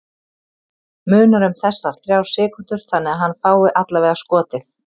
Munar um þessar þrjár sekúndur þannig að hann fái allavega skotið?